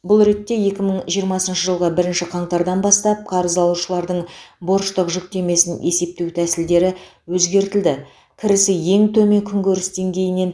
бұл ретте екі мың жиырмасыншы жылғы бірінші қаңтардан бастап қарыз алушылардың борыштық жүктемесін есептеу тәсілдері өзгертілді кірісі ең